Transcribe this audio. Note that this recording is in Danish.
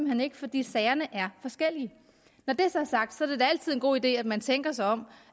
hen ikke fordi sagerne er forskellige når det så er sagt er det da altid en god idé at man tænker sig om